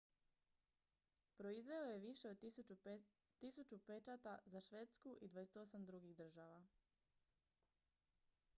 proizveo je više od 1000 pečata za švedsku i 28 drugih država